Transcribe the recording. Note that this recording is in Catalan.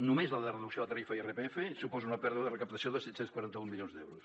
només la reducció de tarifa i irpf suposa una pèrdua de recaptació de set cents i quaranta un milions d’euros